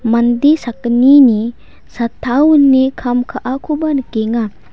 mande sakgnini chatta wine kam ka·akoba nikenga.